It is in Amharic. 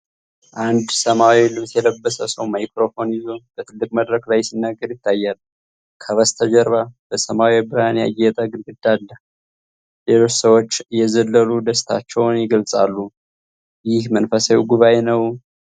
አንድ ሰማያዊ ልብስ የለበሰ ሰው ማይክሮፎን ይዞ በትልቅ መድረክ ላይ ሲናገር ይታያል። ከበስተጀርባ በሰማያዊ ብርሃን ያጌጠ ግድግዳ አለ። ሌሎች ሰዎች እየዘለሉ ደስታቸውን ይገልጻሉ። ይህ መንፈሳዊ ጉባኤ ነው?